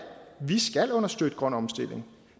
vi skal understøtte grøn omstilling